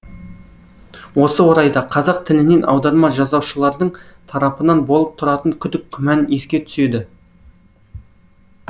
осы орайда қазақ тілінен аударма жасаушылардың тарапынан болып тұратын күдік күмән еске түседі